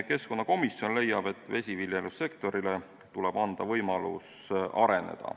Keskkonnakomisjon leiab, et vesiviljelussektorile tuleb anda võimalus areneda.